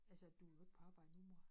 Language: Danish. Altså du jo ikke på arbejde nu mor